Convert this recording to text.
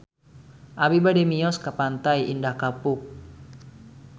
Abi bade mios ka Pantai Indah Kapuk